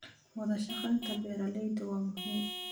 Wadashaqeynta beeralayda waa muhiim.